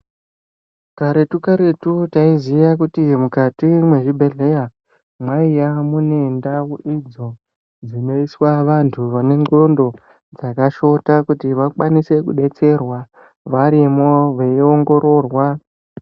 Karetu-karetu taiziya kuti mukati mezvibhedhleya mwaiya mune ndau idzo dzinoswa vantu vane ndxondo dzakashota. Kuti vakwanise kubetserwa varimwo veiongororwa.